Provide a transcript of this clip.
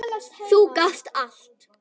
Þú gast allt!